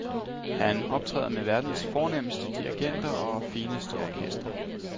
Han optræder med verdens fornemmeste dirigenter og fineste orkestre.